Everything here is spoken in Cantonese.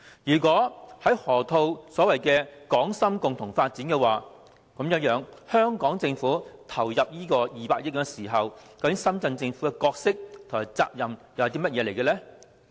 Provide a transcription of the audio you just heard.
如果河套區是所謂的"港深共同發展"，那麼當香港政府投入200億元時，深圳政府的角色和責任又是甚麼？